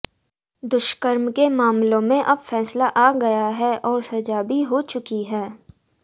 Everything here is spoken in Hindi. दुष्कर्म के मामलों में अब फैसला आ गया है और सजा भी हो चुकी है